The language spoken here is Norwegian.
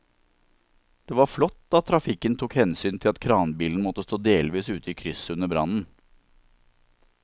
Det var flott at trafikken tok hensyn til at kranbilen måtte stå delvis ute i krysset under brannen.